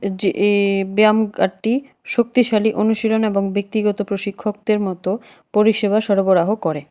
যে এই ব্যায়ামগারটি শক্তিশালী অনুশীলন এবং ব্যক্তিগত প্রশিক্ষকদের মতো পরিষেবা সরবরাহ করে।